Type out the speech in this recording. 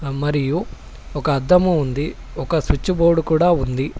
మరియు ఒక అర్థము ఉంది ఒక స్విచ్ బోర్డు కూడా ఉంది.